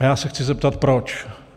A já se chci zeptat proč.